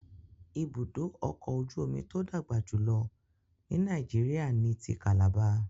Ibùdó-ọkọ̀-ojú-omi tó dàgbà jùlọ ní Nàìjíríà ni ti calabar.